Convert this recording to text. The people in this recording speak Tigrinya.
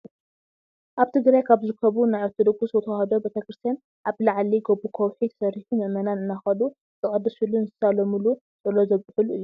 ኣብ ትግራይ ካብ ዝርከቡ ናይ ኦርቶዶክስ ተዋህዶ ቤተ-ክርስትያን ኣብ ልዕሊ ጎቦ ኮውሒ ተሰሪሑ ምእመናን እንዳከዱ ዘቀድስሉን ዝሳለሙሉ፣ ፆሎት ዘብፅሑሉ እዩ።